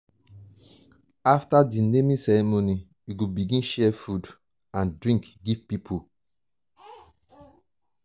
after di naming ceremony we go begin share food and um drink give pipo.